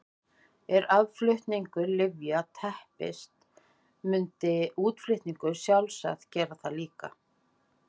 Ef aðflutningur lyfja teppist myndi útflutningur sjálfsagt gera það líka.